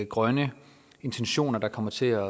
grønne intentioner der kommer til at